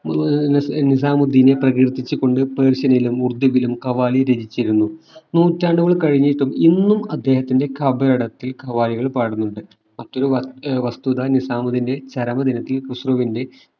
ഏർ നിസാമുദീനെ പ്രകീർത്തിച്ചു കൊണ്ട് persian ലും ഉറുദുവിലും ഖവാലി രചിച്ചിരുന്നു നൂറ്റാണ്ടുകൾ കഴിഞ്ഞിട്ടും ഇന്നും അദ്ദേഹത്തിന്റെ ഖബറിടത്തിൽ ഖവാലികൾ പാടുന്നുണ്ട് മറ്റൊരു വസ്തുത ആഹ് വസ്തുത നിസാമുദീന്റെ ചരമദിനത്തിൽ ഖുസ്രുവിന്റെ